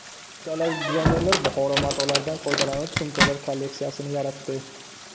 Italiyalik dizaynerlar Buxoro matolaridan foydalanib sumkalar kolleksiyasini yaratdi.